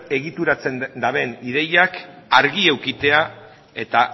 egituratzen duten ideiak argi edukitzea eta